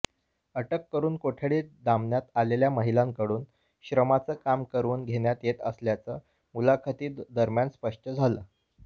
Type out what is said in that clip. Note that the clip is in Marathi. अटक करून कोठडीत डांबण्यात आलेल्या महिलांकडून श्रमाचं काम करवून घेण्यात येत असल्याचं मुलाखतींदरम्यान स्पष्ट झालं